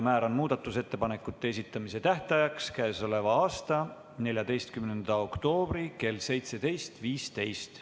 Määran muudatusettepanekute esitamise tähtajaks k.a 14. oktoobri kell 17.15.